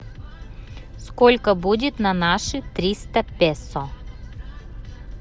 сколько будет на наши триста песо